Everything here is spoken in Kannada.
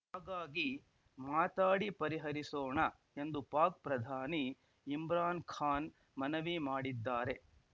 ಹಾಗಾಗಿ ಮಾತಾಡಿ ಪರಿಹರಿಸೋಣ ಎಂದು ಪಾಕ್‌ ಪ್ರಧಾನಿ ಇಮ್ರಾನ್‌ ಖಾನ್‌ ಮನವಿ ಮಾಡಿದ್ದಾರೆ